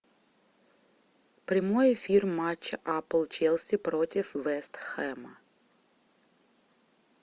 прямой эфир матча апл челси против вест хэма